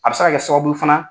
A bɛ se ka kɛ sababu fana.